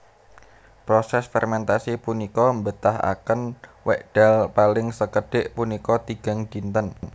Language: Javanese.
Proses fermentasi punika mbetahaken wekdal paling sekedhik punika tigang dinten